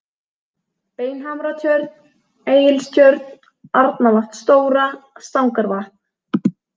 Beinhamratjörn, Egilstjörn, Arnarvatn stóra, Stangarvatn